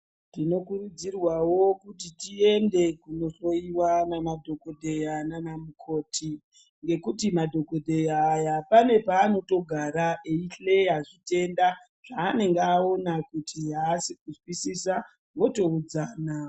Tino kurudzirwawo kuti tiende kuno hloyiwa na madhokodheya nana mukoti ngekuti madhokodheya aya pane pa anotogara eyi hleya chitenda zva anenge awona kuti aasi ku zwisisa woto udzana.